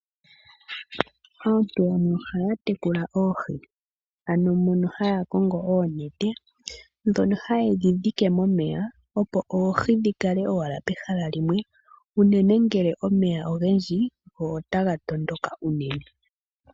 Aantu yamwe ohaya tekula oohi ano mono haya kongo oonete, dhono haye dhi dhike momeya opo oohi dhi kale owala pehala limwe, unene ngele omeya ogendji go otaga tondoka unene.